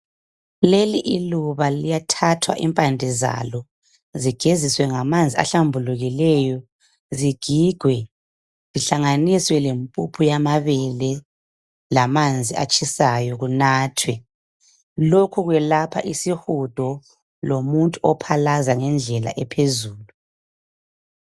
Leli iluba liyathathwa impande zalo zigeziswe ngamanzi ahlambulukileyo zigigwe zihlanganiswe lempuphu amabele lamanzi atshisayo kunathwe lokhu kwelapha isihudo lomuntu ohlanza ngendlela ephezulu.